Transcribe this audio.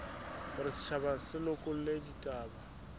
hore setjhaba se lekole ditaba